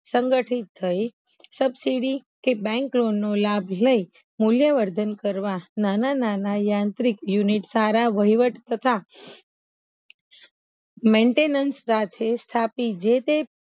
સંગઢીત થઇ સબસીડી કે બેંક લોનનો લાભ લઇ મુલ્ય વર્ધન કરવા નાના નાના યાંત્રિક યુનિટ સારા વહીવટ તથા મેન્ટેનેન્સ સાથે સ્થાપી જે તે